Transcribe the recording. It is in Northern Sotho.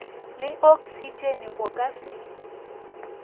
le oksitšene o ka se